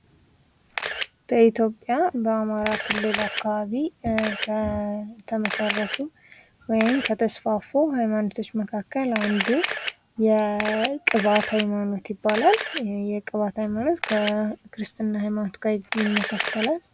በኢትዮጵያ በአማራ ክልል አካባቢ ከተመሰረቱ ወይም ከተስፋፉ ሃይማኖቶች መካከል አንዱ የቅባት ሃይማኖት ይባላል። ይህ የቅባት ሃይማኖት ከክርስትና ሃይማኖት ጋር ይመሳሰላል።